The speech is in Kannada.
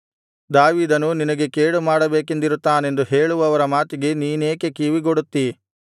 ದಾವೀದನು ನಿನಗೆ ಕೇಡುಮಾಡಬೇಕೆಂದಿರುತ್ತಾನೆಂದು ಹೇಳುವವರ ಮಾತಿಗೆ ನೀನೇಕೆ ಕಿವಿಗೊಡುತ್ತೀ